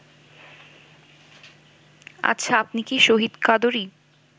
আচ্ছা, আপনি কি শহীদ কাদরী